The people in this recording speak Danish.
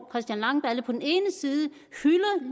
christian langballe